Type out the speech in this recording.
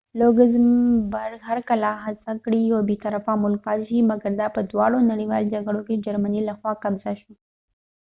لوګزمبرګ هر کله هڅه کړی یو بی طرفه ملک پاتی شی مګر دا په دواړو نړیوالو جګړو کی د جرمنی له خوا قبضه شو